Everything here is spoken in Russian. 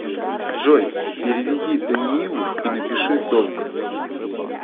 джой переведи даниилу и напиши долг